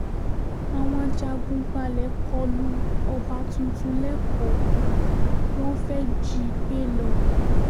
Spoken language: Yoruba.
àwọn ajagun-gbàlẹ̀ kọlu ọba tuntun lẹ́kọ̀ọ́ wọn fẹ́ẹ́ jí i gbé lọ